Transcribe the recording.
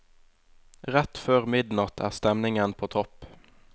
Rett før midnatt er stemningen på topp.